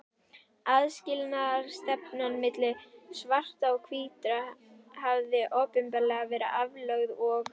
Aðskilnaðarstefnan milli svartra og hvítra hafði opinberlega verið aflögð og